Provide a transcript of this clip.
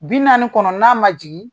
Bi naani kɔnɔ n'a ma jigin